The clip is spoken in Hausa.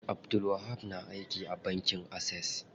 Abdulwahab na aiki a bankin Access.